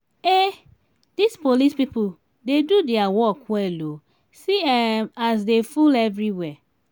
um dis police people dey do their work well oo see um as dey full everywhere